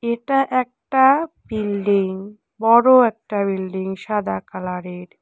এটা একটা বিল্ডিং বড়ো একটা বিল্ডিং সাদা কালারের।